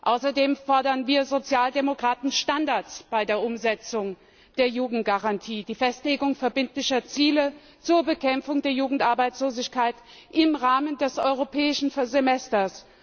Außerdem fordern wir Sozialdemokraten Standards bei der Umsetzung der Jugendgarantie, die Festlegung verbindlicher Ziele zur Bekämpfung der Jugendarbeitslosigkeit im Rahmen des Europäischen Semesters.